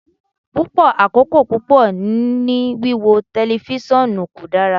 Pupọ akoko pupọ ni wiwo tẹlifisiọnu ko dara